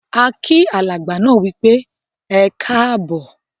A kí alàgbà náà wípé "Ẹkáábọ̀".